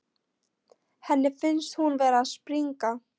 Henni finnst hún vera að springa.